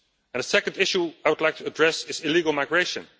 A second issue I would like to address is illegal migration.